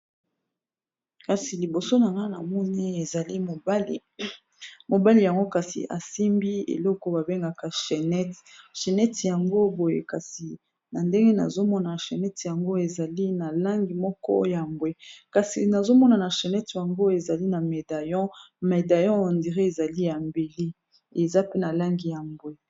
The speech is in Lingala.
Kasi liboso na nga na moni ezali mobali yango kasi asimbi eloko babengaka chenete chennete yango boye kasi na ndenge nazomona na chennete yango ezali na langi moko ya mbwe kasi nazomona na chennete yango ezali na médaillon médaillon on dirait ezali ya mbele eza mpe na langi ya mbwe